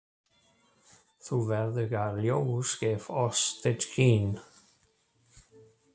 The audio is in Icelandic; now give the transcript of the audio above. Þú verðuga ljós gef oss þitt skin.